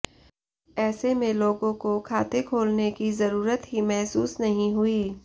ऐसे में लोगों को खाते खोलने की ज़रूरत ही महसूस नहीं हुई